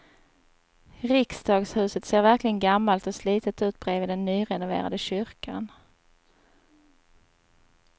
Riksdagshuset ser verkligen gammalt och slitet ut bredvid den nyrenoverade kyrkan.